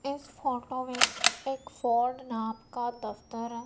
इस फोटो वीच एक फोर्ड नाम का दफ्तर है।